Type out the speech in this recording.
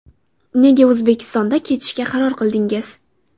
Nega O‘zbekistonda ketishga qaror qildingiz?